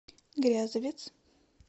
грязовец